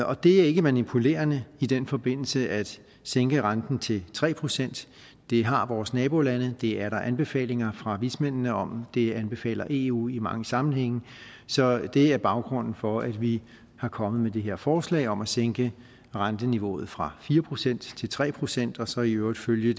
og det er ikke manipulerende i den forbindelse at sænke renten til tre procent det har vores nabolande det er der anbefalinger fra vismændene om og det anbefaler eu i mange sammenhænge så det er baggrunden for at vi er kommet med det her forslag om at sænke renteniveauet fra fire procent til tre procent og så i øvrigt følge